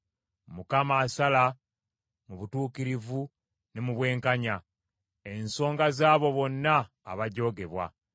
Mukama asala mu butuukirivu ne mu bwenkanya, ensonga z’abo bonna abajoogebwa.